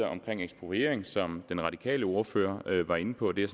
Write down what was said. omkring ekspropriering som den radikale ordfører var inde på det er